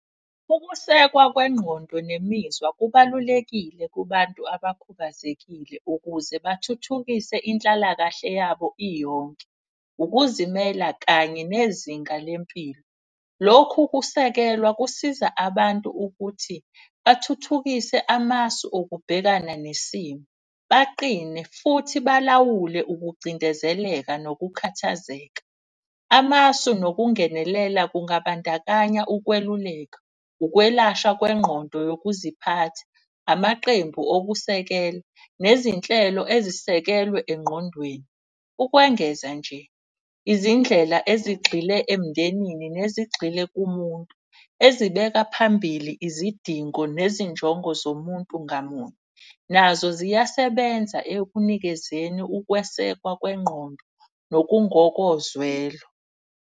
Ukusekwa kwengqondo nemizwa kubalulekile kubantu abakhubazekile ukuze bathuthukise inhlalakahle yabo iyonke, ukuzimela kanye nezinga lempilo. Lokhu kusekelwa kusiza abantu ukuthi bathuthukise amasu okubhekana nesimo, baqine futhi balawule ukucindezeleka nokukhathazeka. Amasu nokungenelela kungabandakanya ukweluleka, ukwelashwa kwengqondo yokuziphatha, amaqembu okusekela nezinhlelo ezisekelwe engqondweni. Ukwengeza nje izindlela ezigxile emndenini, nezingxile kumuntu ezibekwa phambili izidingo nezinjongo zomuntu ngamunye. Nazo ziyasebenza ekunikezeni ukwesekwa kwengqondo nokungokozwelo.